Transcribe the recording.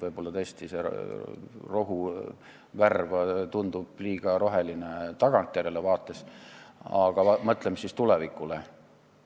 Võib-olla tõesti see rohu värv tundub liiga roheline tagantjärele vaates, aga mõtleme siis tulevikule.